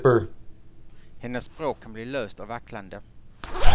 Hennes språk kan bli löst och vacklande.